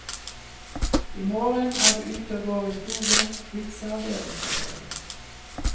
I morgen er du ute og går i skogen, hilser avdelingsoverlegen.